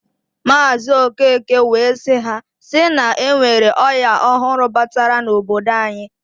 Maazi Okeke wee siː"Ha si na enwere oya ọhụrụ batara n'obodo anyi.